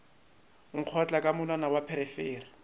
nkgotla ka monwana wa pherefere